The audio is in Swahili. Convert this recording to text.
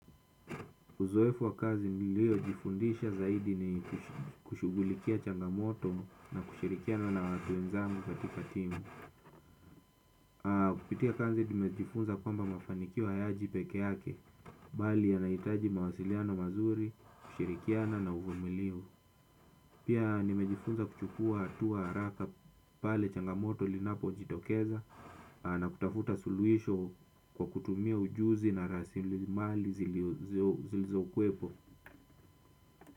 Uzoefu wa kazi niliojifundisha zaidi ni kushugulikia changamoto na kushirikiana na watu wenzangu katika timu. Kupitia kazi tumejifunza kwamba mafanikio hayaji pekee yake, bali yanahitaji mawasiliano mazuri, kushirikiana na uvumilivu. Pia nimejifunza kuchukua hatua haraka pale changamoto zinapojitokeza na kutafuta suluhisho kwa kutumia ujuzi na rasimali zilizokuwepo.